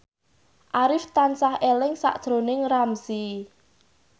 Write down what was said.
Arif tansah eling sakjroning Ramzy